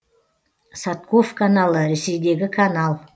садков каналы ресейдегі канал